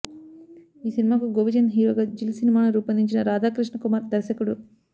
ఈ సినిమాకు గోపిచంద్ హీరోగా జిల్ సినిమాను రూపొందించిన రాధా కృష్ణ కుమార్ దర్శకుడు